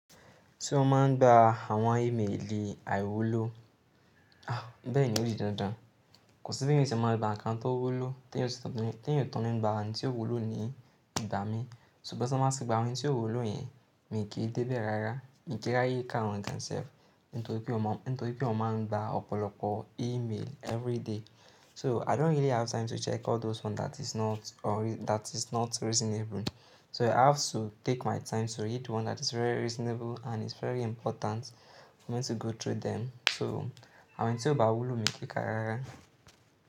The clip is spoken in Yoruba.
Se mo máa ń gba àwọn imeeli àìwòló, àá bẹ́ẹ̀ni ó dí dandan. Kò sí bí ènìyàn o se máa gbá ńkàn tó wúló tí èèyàn o si tun nígbà ohun ti f wúló ni ìgbà mìí. Sugbon tí wọn máa ti gba ohun tí o wúló yẹn, mi kì í débẹ̀ rárá. Mi kì í ráàyé ká wọn themselves. Nitoripé o máa ń gba ọ̀pọ̀lọpọ̀ e-mail every day. So I don't really have time to check all those ones that is not or that is not reasonable. So I have to take my time to read one that is very reasonable and is very important for me to go through them. So àwọn èyi tí ó ba wuló mi kì í ka rárá.